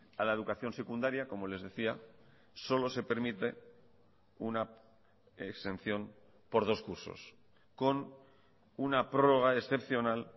a la educación secundaria como les decía solo se permite una exención por dos cursos con una prórroga excepcional